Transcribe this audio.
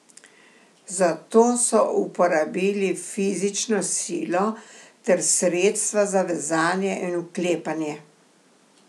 Zato so uporabili fizično silo ter sredstva za vezanje in vklepanje.